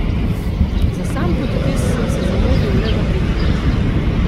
Za sam podpis sem se zamudil le za pet minut.